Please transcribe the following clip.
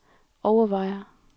overvejer